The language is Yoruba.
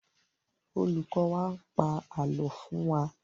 Olùkọ̀ n pa ààlọ́ fún wa